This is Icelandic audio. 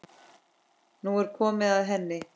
Nú er komið að henni.